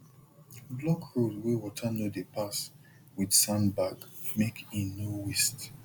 block road wey water no dey pass with sandbag make e no waste